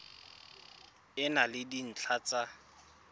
e na le dintlha tsa